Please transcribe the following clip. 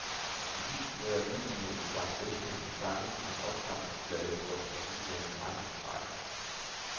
Fidusen med at udgive en stak velkendte sange på en opsamlingsplade slår tilsyneladende aldrig fejl.